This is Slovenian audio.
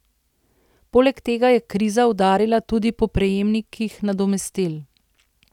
Poleg tega je kriza udarila tudi po prejemnikih nadomestil.